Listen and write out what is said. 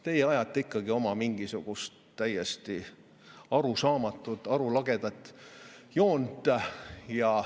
Teie ajate ikkagi oma mingisugust täiesti arusaamatut, arulagedat joont.